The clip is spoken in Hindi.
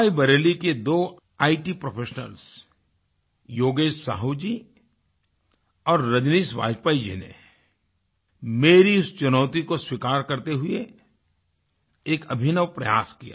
रायबरेली के दो इत प्रोफेशनल्स योगेश साहू जी और रजनीश बाजपेयी जी ने मेरी इस चुनौती को स्वीकार करते हुए एक अभिनव प्रयास किया